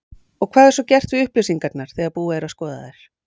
Og hvað er svo gert við upplýsingarnar þegar búið að skoða þær?